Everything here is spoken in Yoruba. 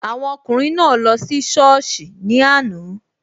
Awọn ọkùnrin naa lọ sí sọ́ọ̀sì ní àná